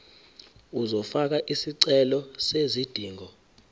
uzofaka isicelo sezidingo